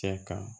Cɛ kan